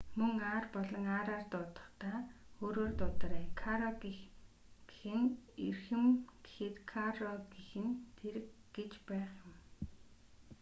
мөн r болон rr дуудахдаа өөрөөр дуудаарай caro гэх нь эрхэм гэхэд carro гэх нь тэрэг гэж байх юм